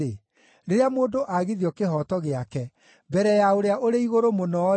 rĩrĩa mũndũ aagithio kĩhooto gĩake mbere ya Ũrĩa-ũrĩ-Igũrũ-Mũno-rĩ,